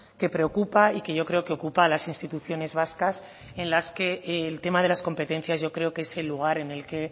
que preocupa y que yo creo que ocupa a las instituciones vascas en las que el tema de las competencias yo creo que es el lugar en el que